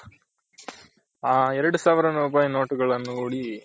ಹ ಎರಡು ಸಾವಿರ ರೂಪಾಯಿ ನೋಟ್ ಗಳ್ಳನು ನೋಡಿ